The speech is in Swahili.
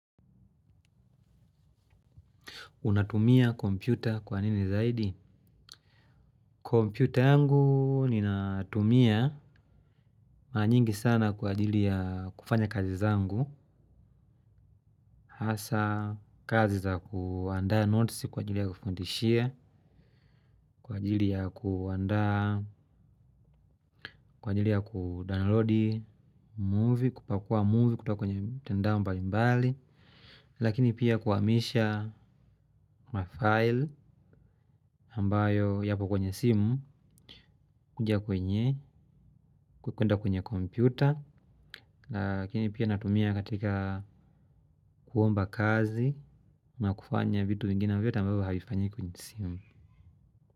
Unatumia kompyuta kwa nini zaidi? Kompyuta yangu ninatumia mara nyingi sana kwa ajili ya kufanya kazi zangu. Hasa kazi za kuandaa notes kwa ajili ya kufundishia, kwa ajili ya kuandaa, kwa ajili ya kudawnlodi movie, kupakua movie kutoka kwenye mitandao mbali mbali. Lakini pia kuhamisha kwa file ambayo yapo kwenye simu, kuja kwenye, kuenda kwenye kompyuta. Lakini pia natumia katika kuomba kazi ama kufanya vitu vingine vio tambabu havifanyiki isimu.